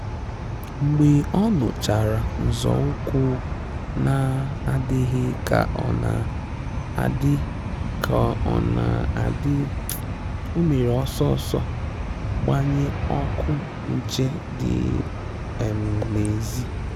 Mgbe ọ́ nụ́chàrà nzọ́ụ́kwụ́ nà-àdị́ghị́ kà ọ́ nà-àdị́, kà ọ́ nà-àdị́, ọ́ mèrè ọ́sọ́ ọ́sọ́ gbànyé ọ́kụ́ nchè dị́ um n'èzì.